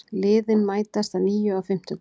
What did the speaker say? Liðin mætast að nýju á fimmtudag